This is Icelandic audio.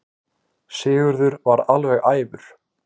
Sigurður varð alveg æfur.